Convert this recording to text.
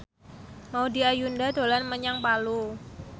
Maudy Ayunda dolan menyang Palu